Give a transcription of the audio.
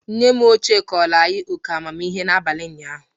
Nne m ochie kọọrọ anyị óké amamihe n'abalị ụnyaahụ.